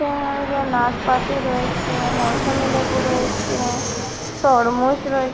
এ-এ-এ নাসপাতি রয়েছে মৌসুমী লেবু রয়েছে তরমুজ রয়েছে।